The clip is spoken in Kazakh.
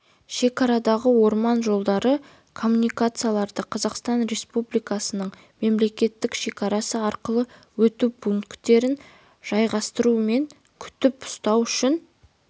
шекарадағы орман жолдарын коммуникацияларды қазақстан республикасының мемлекеттік шекарасы арқылы өту пункттерін жайғастыру мен күтіп-ұстау үшін